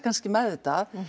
meðvitað